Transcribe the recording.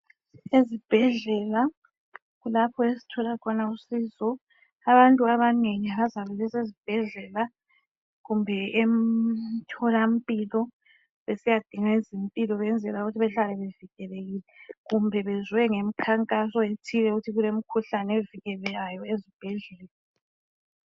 Ezibhedlela kulapho esithola khona usizoAbantu abanengi bazabe besezibhedlela kumbe emtholampilo besiyadinga izimpilo ukwenzela ukuthi behlale bevikelekile kumbe bezwe ngemkhankaso ethile ukuthi kulemikhuhlane evikelekeayo ezibhedlela.